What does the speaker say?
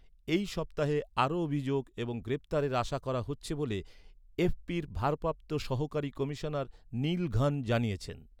এই সপ্তাহে আরও অভিযোগ এবং গ্রেপ্তারের আশা করা হচ্ছে বলে এফপির ভারপ্রাপ্ত সহকারী কমিশনার নিল ঘন্ জানিয়েছেন।